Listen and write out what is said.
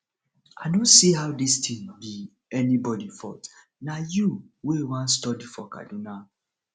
i no see how dis thing be anybody fault na you wey wan study for kaduna